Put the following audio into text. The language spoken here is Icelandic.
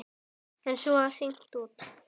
En svo var hringt út.